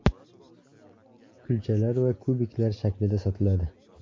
Kulchalar va kubiklar shaklida sotiladi.